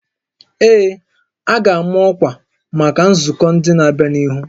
Ee, a ga-ama ọkwa maka nzukọ ndị na-abịanụ